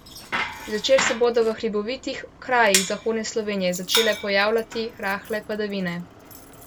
Zvečer se bodo v hribovitih krajih zahodne Slovenije začele pojavljati rahle padavine.